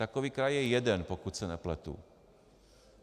Takový kraj je jeden, pokud se nepletu.